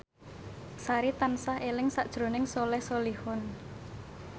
Sari tansah eling sakjroning Soleh Solihun